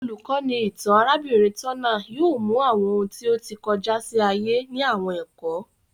Olukọni itan arabinrin Turner yóò mú awọn òun ti o tí kọjá sí ayé ni àwọn ẹkọ